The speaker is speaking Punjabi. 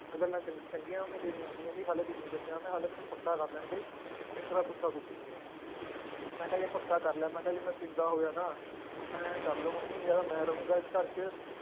ਇਹ ਗੱਲਾਂ ਚੰਗ ਚੰਗੀਆਂ ਮੰਮੀ ਤੇਰੀਆਂ, ਮੰਮੀ ਕਹਿੰਦੀ ਹਾਲੇ ਕੁਛ ਨੀ ਦੱਸਿਆ ਮੈਂ ਹਾਲੇ ਮੈਨੂੰ ਪੱਕਾ ਕਰ ਲੈਣਦੇ ਫਿਰ ਤੇਰਾ ਪੁੱਠਾ ਕੁਟਾਂਗੀ ਮੈਂ, ਮੈਂ ਕਿਹਾ ਯਾਰ ਪੱਕਾ ਕਰ ਲੈ ਮੈਂ ਕਿਹਾ ਜੇ ਮੈਂ ਪੀਂਦਾ ਹੋਇਆ ਨਾ ਇਉਂ ਕਰ ਲਓ ਮੰਮੀ ਜਾਂ ਤਾਂ ਮੈਂ ਰਹਾਂਗਾ ਇਸ ਘਰ ਚ